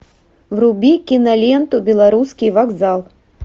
вруби киноленту белорусский вокзал